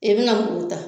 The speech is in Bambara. I bɛna muru ta